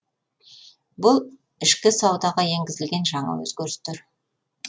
бұл ішкі саудаға енгізілген жаңа өзгерістер